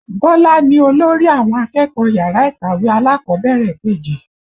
Bọlá ni olórí àwọn akẹ́kọ̀ọ́ yàrá ìkàwé alákọ̀bẹ̀rẹ̀ kejì